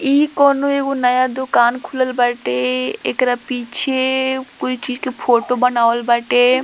इ कोवनो एगो नया दुकान खुलल बाटे एकरा पीछे कोई चीज़ के फोटो बनावल बाटे।